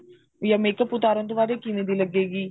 ਜਾਂ makeup ਉਤਾਰਨ ਤੋਂ ਬਾਅਦ ਕਿਵੇਂ ਦੀ ਲੱਗੇਗੀ